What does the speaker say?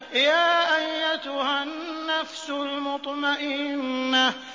يَا أَيَّتُهَا النَّفْسُ الْمُطْمَئِنَّةُ